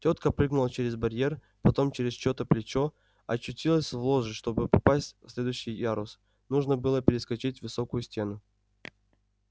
тётка прыгнула через барьер потом через чьё-то плечо очутилась в ложе чтобы попасть в следующий ярус нужно было перескочить высокую стену